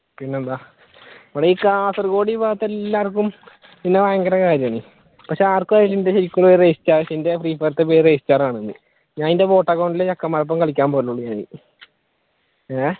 പിന്നെന്താ ഈ കാസർഗോഡ് ഈ ഭാഗത്ത് എല്ലാര്ക്കും എന്നെ ഭയങ്കര കാര്യമാണ് പക്ഷെ ആർക്കും എന്റെ ശെരിക്കുള്ള പേര് ഫ്രീഫയറിലത്തെ ശെരിക്കുള്ള പേര് ആണെന്ന് ഞാനതിന്റെ അക്കൗണ്ടിൽ കളിയ്ക്കാൻ പോയിട്ടുണ്ട് ഞാൻ ഏഹ്